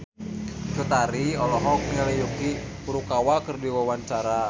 Cut Tari olohok ningali Yuki Furukawa keur diwawancara